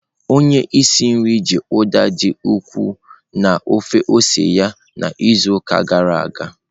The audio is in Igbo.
Onye isi nri ji Uda dị ukwuu na ofe ose ya n'izuụka gara aga.